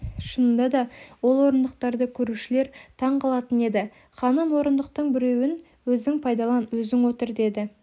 шынында да ол орындықтарды көрушілер таң қалатын еді ханым орындықтың біреуін өзің пайдалан өзің отыр деді